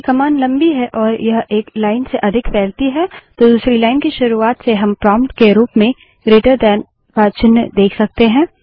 यदि कमांड लम्बी है और यह एक लाइन से अधिक फैलती है तो दूसरी लाइन की शुरूआत से हम प्रोंप्ट के रूप में ग्रेटर दैन का चिन्ह जीटी देख सकते हैं